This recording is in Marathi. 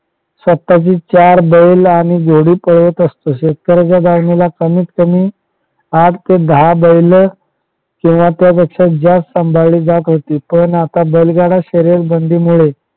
स्वतःचे चार बैल आणि जोडी पळवत असतो शेतकऱ्याच्या कमीत कमी आठ ते दहा बैल किंवा त्यापेक्षा जास्त सांभाळली जात होती पण आता बैलगाडा शर्यतीमुळे